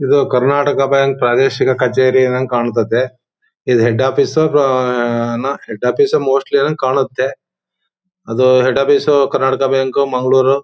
ಇದು ಕರ್ನಾಟಕ ಬ್ಯಾಂಕ್ ಪ್ರಾದೇಶಿಕ ಕಚೇರಿ ಇದ್ದಂಗ್ ಕಾಣ್ತದೆ. ಇದು ಹೆಡ್ ಆಫೀಸ್ ಅಥ್ವಾ ಹೆಡ್ ಆಫೀಸ್ ಸು ಮೋಸ್ಟ್ಲಿ ಕಾಣುತ್ತೆ. ಅದು head office Karnataka bank Mangaluru.